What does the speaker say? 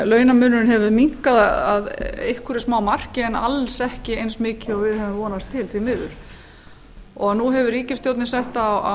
launamunurinn hefur minnkað að einhverju smámarki en alls ekki eins mikið og við gáfu vonast til því miður nú hefur ríkisstjórnin sett